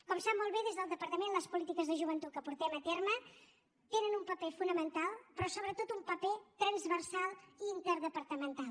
com sap molt bé des del departament les polítiques de joventut que portem a terme tenen un paper fonamental però sobretot un paper transversal i interdepartamental